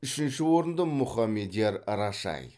үшінші орынды мұхамедияр рашай